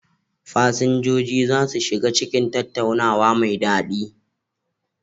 Fasinjoji za su shiga cikin tattaunawa mai daɗi.